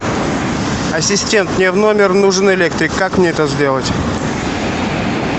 ассистент мне в номер нужен электрик как мне это сделать